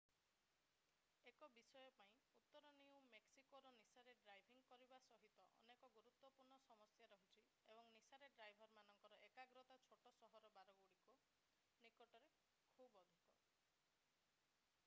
1 ବିଷୟ ପାଇଁ ଉତ୍ତର ନ୍ୟୁ ମେକ୍ସିକୋରେ ନିଶାରେ ଡ୍ରାଇଭିଂ କରିବା ସହିତ ଅନେକ ଗୁରୁତ୍ତ୍ଵପୂର୍ଣ୍ଣ ସମସ୍ୟା ରହିଛି ଏବଂ ନିଶାରେ ଡ୍ରାଇଭରମାନଙ୍କର ଏକାଗ୍ରତା ଛୋଟ-ସହରର ବାରଗୁଡିକ ନିକଟରେ ଖୁବ ଅଧିକ